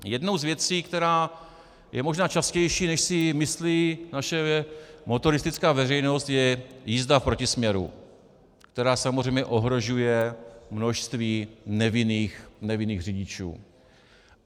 Jednou z věcí, která je možná častější, než si myslí naše motoristická veřejnost, je jízda v protisměru, která samozřejmě ohrožuje množství nevinných řidičů.